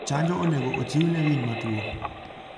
hanjo onego ochiw ne winy matuo.